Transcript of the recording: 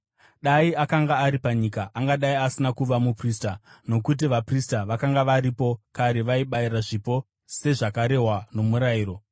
Dai akanga ari panyika, angadai asina kuva muprista, nokuti vaprista vakanga varipo kare vaibayira zvipo sezvakarehwa nomurayiro.